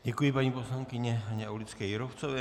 Děkuji paní poslankyni Haně Aulické Jírovcové.